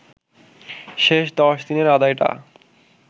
শেষ ১০ দিনের আদায়টা